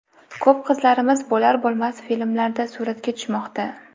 Ko‘p qizlarimiz bo‘lar-bo‘lmas filmlarda suratga tushmoqda.